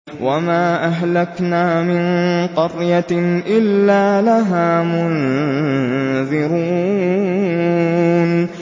وَمَا أَهْلَكْنَا مِن قَرْيَةٍ إِلَّا لَهَا مُنذِرُونَ